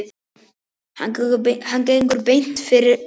Hann gengur beint fyrir bílinn.